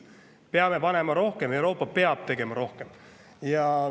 Me peame rohkem ja Euroopa peab tegema rohkem.